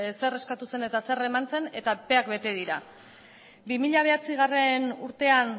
zer eskatu zen eta zer eman zen eta epeak bete dira bi mila bederatzigarrena urtean